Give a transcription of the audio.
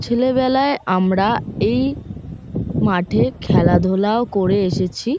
ছেলেবেলায় আমরা এই মাঠে খেলাধুলাও করে এসেছি।